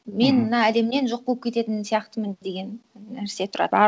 мен мына әлемнен жоқ болып кететін сияқтымын деген нәрсе тұрады